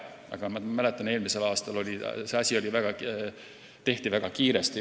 Aga ma mäletan, et eelmisel aastal tehti kõike väga kiiresti.